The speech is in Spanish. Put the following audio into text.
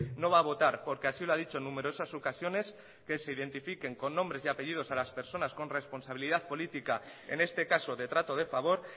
no va a votar porque así lo ha dicho en numerosas ocasiones que se identifiquen con nombres y apellidos a las personas con responsabilidad política en este caso de trato de favor